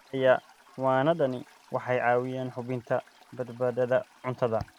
Xayawaanadani waxay caawiyaan hubinta badbaadada cuntada.